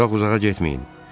Çox uzağa getməyin.